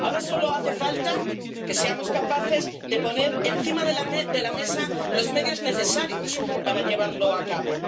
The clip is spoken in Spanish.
Ahora solo hace falta que seamos capaces de poner encima de la mesa los medios necesarios para llevarlo a cabo.